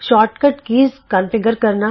short ਕਟ button configure ਕਰਨਾ